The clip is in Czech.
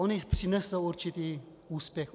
Ony přinesou určitý úspěch.